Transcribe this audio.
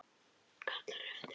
Kallar á eftir henni.